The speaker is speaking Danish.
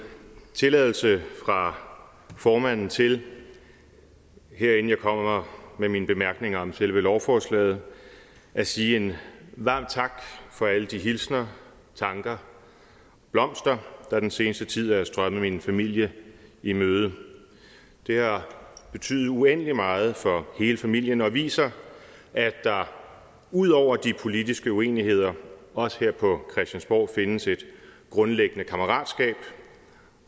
tilladelse fra formanden til her inden jeg kommer med mine bemærkninger om selve lovforslaget at sige en varm tak for alle de hilsner tanker og blomster der i den seneste tid er strømmet min familie i møde det har betydet uendelig meget for hele familien og viser at der ud over de politiske uenigheder også her på christiansborg findes et grundlæggende kammeratskab